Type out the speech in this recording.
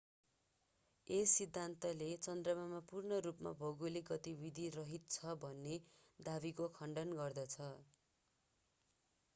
यस सिद्धान्तले चन्द्रमा पूर्ण रूपमा भौगोलिक गतिविधि रहित छ भन्ने दावीको खण्डन गर्दछ